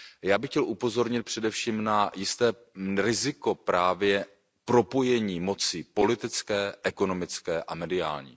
Já bych chtěl upozornit především na jisté riziko právě propojení moci politické, ekonomické a mediální.